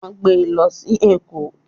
Won gbe e lo si Eko.